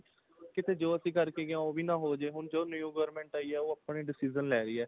ਕਿਤੇ ਜੋ ਅਸੀਂ ਕਰਕੇ ਗਏ ਹਾਂ ਉਹ ਵੀ ਨਾ ਹੋਜੇ ਹੁਣ ਜੋ new government ਆਈ ਹੈ ਆਪਣੇ decision ਲੈ ਰਹੀ ਹੈ